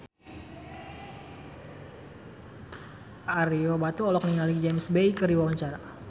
Ario Batu olohok ningali James Bay keur diwawancara